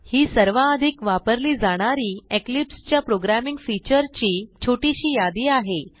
ही सर्वाधिक वापरली जाणारी इक्लिप्स च्या प्रोग्रॅमिंग फीचरची छोटीशी यादी आहे